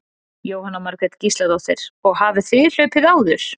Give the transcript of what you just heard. Jóhanna Margrét Gísladóttir: Og hafið þið hlaupið áður?